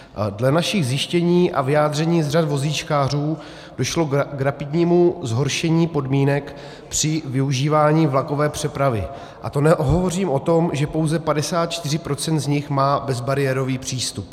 Dle našich zjištění a vyjádření z řad vozíčkářů došlo k rapidnímu zhoršení podmínek při využívání vlakové přepravy, a to nehovořím o tom, že pouze 54 % z nich má bezbariérový přístup.